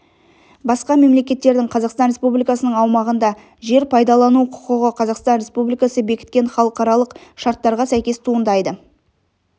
басқа мемлекеттердің қазақстан республикасының аумағында жер пайдалану құқығы қазақстан республикасы бекіткен халықаралық шарттарға сәйкес туындайды